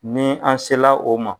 Ni an sela o ma